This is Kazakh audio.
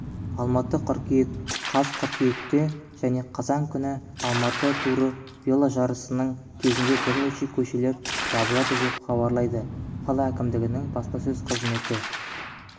алматы қыркүйек қаз қыркүйекте және қазан күні алматы туры веложарысының кезінде бірнеше көшелер жабылады деп хабарлайды қала әкімдігінің баспасөз қызметі